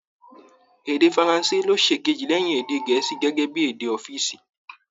Èdè faranse ló ṣìkejì lẹ́yìn èdè Gẹ̀ẹ́sì gẹ́gẹ́ bí èdè ọ́fììsì